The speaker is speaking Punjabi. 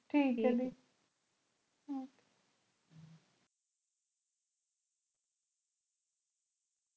hello hello